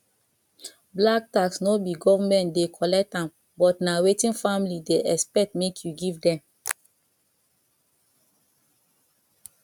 black tax no be government dey collect am but na wetin family dey expect make you give them